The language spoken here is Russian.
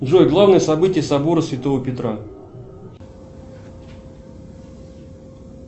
джой главное событие собора святого петра